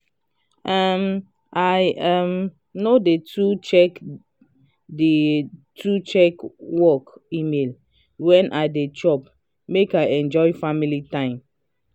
um i um no dey too check dey too check work email wen i dey chop make i enjoy family time.